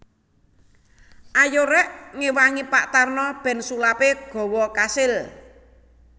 Ayo rek ngewangi Pak Tarno ben sulape gawa kasil